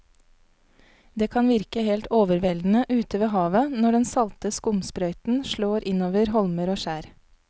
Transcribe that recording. Det kan virke helt overveldende ute ved havet når den salte skumsprøyten slår innover holmer og skjær.